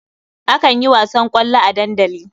Akan yi wasan ƙwallo a dandali.